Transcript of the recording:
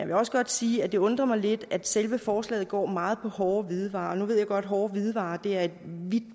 vil også godt sige at det undrer mig lidt at selve forslaget går meget på hårde hvidevarer nu ved jeg godt at hårde hvidevarer er et vidt